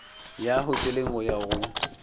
ya hoteleng go ya go